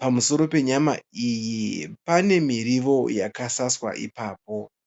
Pamusoro penyama iyi pane miriwo yakasaswa ipapo.